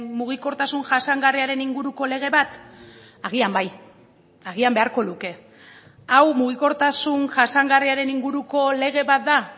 mugikortasun jasangarriaren inguruko lege bat agian bai agian beharko luke hau mugikortasun jasangarriaren inguruko lege bat da